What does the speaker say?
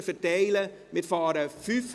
Bitte verteilen Sie sich.